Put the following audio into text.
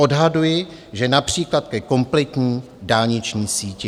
Odhaduji, že například ke kompletní dálniční síti.